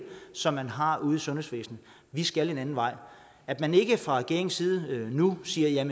som de har ude i sundhedsvæsenet vi skal en anden vej at man ikke fra regeringens side nu siger